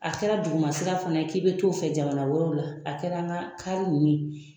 A kɛra dugumasira fana ye k'i be t'o fɛ jamana wɛrɛw la ,a kɛra an ka kari nunnu ye